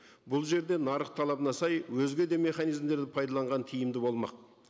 бұл жерде нарық талабына сай өзге де механизмдерді пайдаланған тиімді болмақ